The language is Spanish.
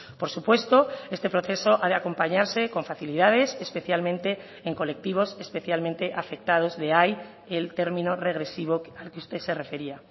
por supuesto este proceso ha de acompañarse con facilidades especialmente en colectivos especialmente afectados de ahí el término regresivo al que usted se refería